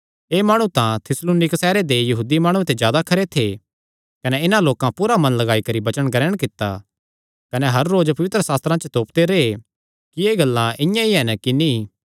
एह़ माणु तां थिस्सलुनीक सैहरे दे यहूदी माणुआं ते जादा खरे थे कने इन्हां लोकां पूरा मन लगाई करी वचन ग्रहण कित्ता कने हर रोज पवित्रशास्त्रां च तोपदे रैह् कि एह़ गल्लां इआं ई हन कि नीं